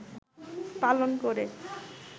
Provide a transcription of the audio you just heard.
পালন করে